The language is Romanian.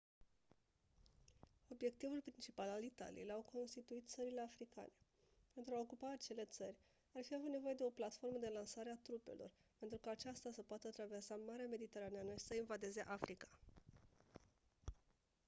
obiectivul principal al italiei l-au constituit țările africane pentru a ocupa acele țări ar fi avut nevoie de o platformă de lansare a trupelor pentru ca acestea să poată traversa marea mediterană și să invadeze africa